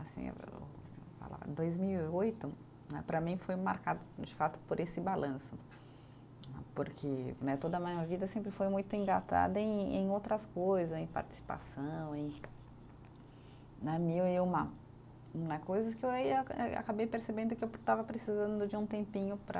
dois mil e oito né para mim foi marcado, de fato, por esse balanço, porque né, toda a minha vida sempre foi muito engatada em em outras coisas, em participação, em né, mil e uma, uma coisas que eu aí eu eh acabei percebendo que eu estava precisando de um tempinho para